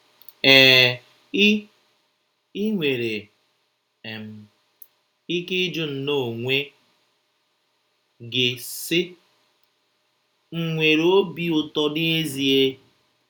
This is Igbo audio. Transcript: EE, I, I nwere um ike ịjụ nnọọ onwe gị, sị, ‘ M̀ nwere obi ụtọ n’ezie? ’